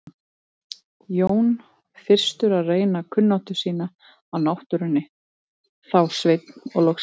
Jón fyrstur að reyna kunnáttu sína á náttúrunni, þá Sveinn og loks Refur.